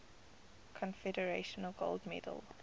congressional gold medal